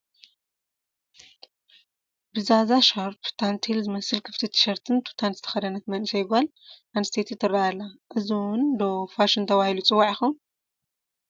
ብዛዛ ሻርፕ፣ ታንቴል ዝመስል ክፍቲ ቲ ሸርትን ቱታን ዝተኸደነት መንእሰይ ጓል ኣንስተይቲ ትርአ ኣላ፡፡ እዚ እውን ዶ ፋሽን ተባሂሉ ክፅዋዕ ይኸውን?